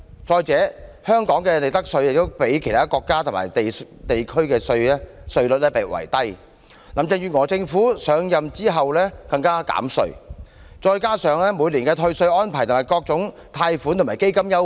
再者，香港的利得稅較其他國家及地區稅率低，林鄭月娥政府上任後更減稅，再加上每年的退稅安排、各項貸款及基金優惠。